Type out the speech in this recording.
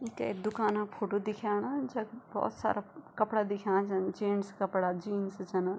यी के दूकाना क फोटो दिख्याणा जख भोत सारा कपड़ा दिख्याणा छन जेंट्स कपड़ा जीन्स छिन।